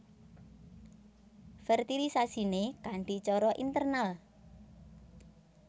Fertilisasiné kanthi cara internal